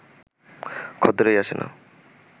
খদ্দেরই আসে না